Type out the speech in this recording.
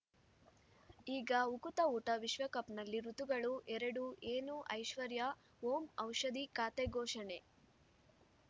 ಈಗ ಉಕುತ ಊಟ ವಿಶ್ವಕಪ್‌ನಲ್ಲಿ ಋತುಗಳು ಎರಡು ಏನು ಐಶ್ವರ್ಯಾ ಓಂ ಔಷಧಿ ಖಾತೆ ಘೋಷಣೆ